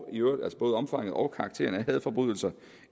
og karakteren af hadforbrydelser